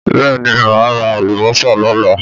Bẹ́ẹ̀ ni, mà á ra àlùbọ́sà lọ́la.